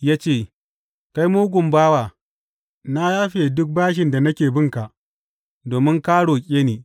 Ya ce, Kai mugun bawa, na yafe duk bashin da nake binka domin ka roƙe ni.